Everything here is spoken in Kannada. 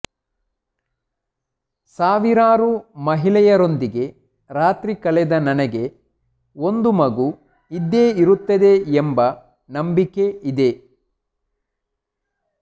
ಸಾವಿರಾರು ಮಹಿಳೆಯರೊಂದಿಗೆ ರಾತ್ರಿ ಕಳೆದ ನನಗೆ ಒಂದು ಮಗು ಇದ್ದೇ ಇರುತ್ತದೆ ಎಂಬ ನಂಬಿಕೆ ಇದೆ